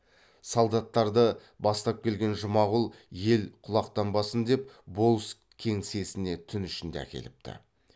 солдаттарды бастап келген жұмағұл ел құлақтанбасын деп болыс кеңсесіне түн ішінде әкеліпті